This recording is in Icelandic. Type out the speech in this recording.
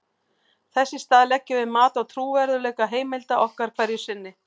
þess í stað leggjum við mat á trúverðugleika heimilda okkar hverju sinni